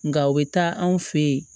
Nka o bɛ taa anw fɛ yen